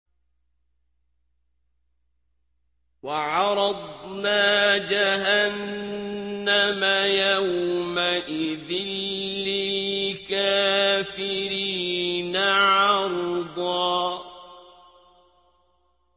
وَعَرَضْنَا جَهَنَّمَ يَوْمَئِذٍ لِّلْكَافِرِينَ عَرْضًا